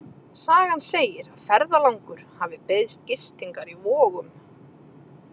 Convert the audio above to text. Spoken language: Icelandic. Sagan segir að ferðalangur hafi beiðst gistingar í Vogum.